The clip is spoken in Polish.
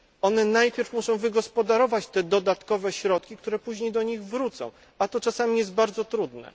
One najpierw muszą wygospodarować te dodatkowe środki, które później do nich wrócą, a jest to czasami bardzo trudne.